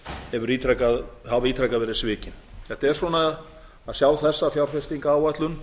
hafa ítrekað verið svikin þetta er svona að sjá þessa fjárfestingaráætlun